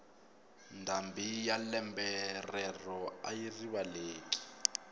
ndhambi ya lembe rero ayi rivaleki